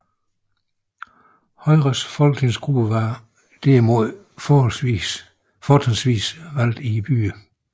Højres folketingsgruppe var derimod fortrinsvis valgt i byerne